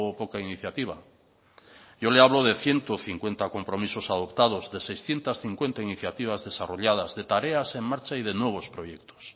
poca iniciativa yo le hablo de ciento cincuenta compromisos adoptados de seiscientos cincuenta iniciativas desarrolladas de tareas en marcha y de nuevos proyectos